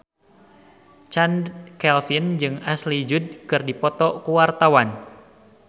Chand Kelvin jeung Ashley Judd keur dipoto ku wartawan